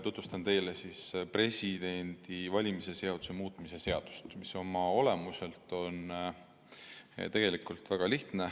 Tutvustan teile Vabariigi Presidendi valimise seaduse muutmise seadust, mis oma olemuselt on tegelikult väga lihtne.